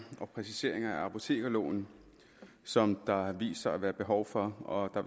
og præciseringer i apotekerloven som der har vist sig at være behov for og der